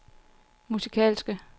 musikalske